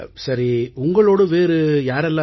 சரி உங்களோடு வேறு யாரெல்லாம்